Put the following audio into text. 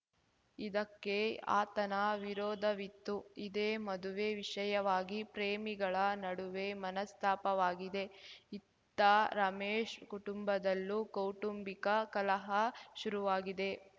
ಇದಕ್ಕೆ ಆತನ ವಿರೋಧವಿತ್ತು ಇದೇ ಮದುವೆ ವಿಷಯವಾಗಿ ಪ್ರೇಮಿಗಳ ನಡುವೆ ಮನಸ್ತಾಪವಾಗಿದೆ ಇತ್ತ ರಮೇಶ್‌ ಕುಟುಂಬದಲ್ಲೂ ಕೌಟುಂಬಿಕ ಕಲಹ ಶುರುವಾಗಿದೆ